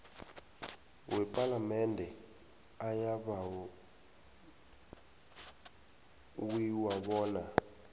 wepalamende ayabawiwa bona